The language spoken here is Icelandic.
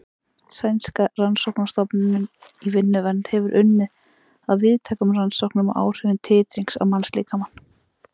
Sænska rannsóknastofnunin í vinnuvernd hefur unnið að víðtækum rannsóknum á áhrifum titrings á mannslíkamann.